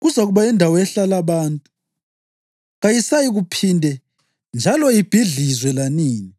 Kuzakuba yindawo ehlala abantu, kayisayikuphinde njalo ibhidlizwe lanini.